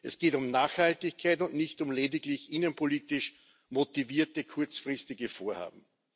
Es geht um Nachhaltigkeit und nicht um lediglich innenpolitisch motivierte kurzfristige Vorhaben.